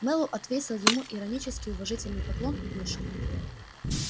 мэллоу отвесил ему иронический уважительный поклон и вышел